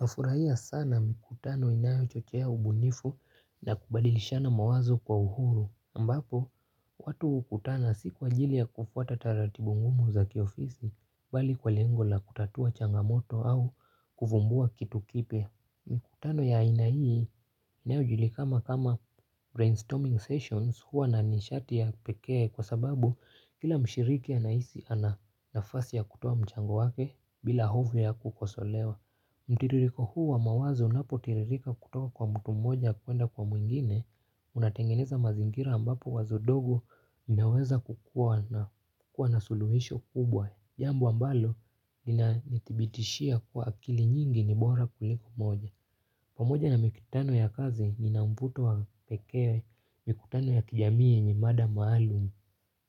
Nafurahia sana mikutano inayo chochea ubunifu na kubadilishana mawazo kwa uhuru, ambapo watu hukutana si kwa ajili ya kufuata taratibu ngumu za kiofisi, bali kwa lengo la kutatua changamoto au kufumbua kitu kipya. Mikutano ya aina hii inayo inayojulikana kama kama brainstorming sessions huwa na nishati ya pekee kwa sababu kila mshiriki anahisi ana nafasi ya kutoa mchango wake bila hofu ya kukosolewa. Mtiririko huu wa mawazo unapo tiririka kutoka kwa mtu mmoja kuenda kwa mwingine. Unatengeneza mazingira ambapo wazo dogo inaweza kukua na suluhisho kubwa. Jambo ambalo inanithibitishia kuwa akili nyingi ni bora kuliko mmoja. Pamoja na mikutano ya kazi ninamputo wa pekee mikutano ya kijamii yenye mada maalumu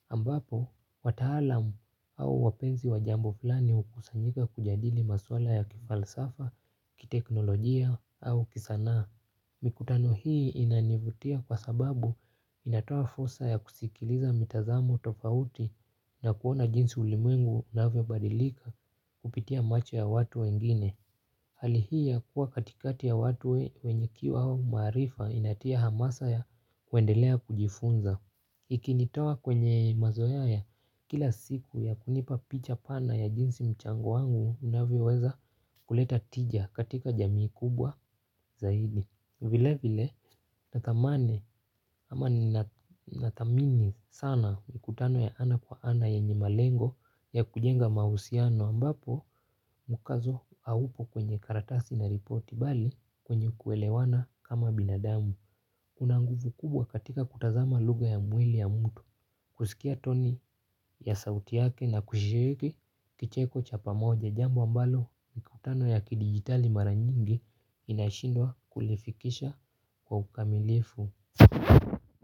ambapo, wataalamu au wapenzi wa jambo fulani hukusanyika kujadili maswala ya kifalsafa, kiteknolojia au kisanaa. Mikutano hii inanivutia kwa sababu inatoa fursa ya kusikiliza mitazamo tofauti na kuona jinsi ulimwengu unavyobadilika kupitia macho ya watu wengine. Hali hii ya kuwa katikati ya watu wenye kiu au maarifa inatia hamasa ya kuendelea kujifunza. Ikinitoa kwenye mazoea ya kila siku ya kunipa picha pana ya jinsi mchango wangu unavyoweza kuleta tija katika jamii kubwa zaidi. Vile vile na tamani ama nina na thamini sana ni mkutano ya ana kwa ana yenye malengo ya kujenga mahusiano ambapo mkazo haupo kwenye karatasi na ripoti bali kwenye kuelewana kama binadamu. Unanguvu kubwa katika kutazama lugha ya mwili ya mtu kusikia toni ya sauti yake na kushiriki kicheko cha pamoja jambo ambalo mkutano ya kidigitali maranyingi inashindwa kulifikisha kwa ukamilifu.